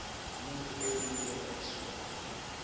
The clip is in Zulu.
umuntu owemukela isondlo